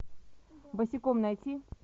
босиком найти